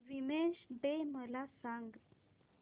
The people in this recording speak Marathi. वीमेंस डे मला सांग